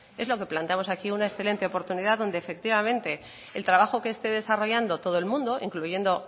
es lo que planteamos aquí una excelente oportunidad donde efectivamente el trabajo que esté desarrollando todo el mundo incluyendo